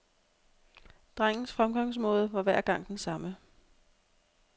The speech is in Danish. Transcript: Drengens fremgangsmåde var hver gang den samme.